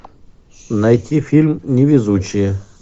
найти фильм невезучие